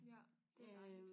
Ja det dejligt